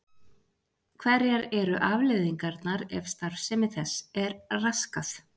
hverjar eru afleiðingarnar ef starfsemi þess er raskað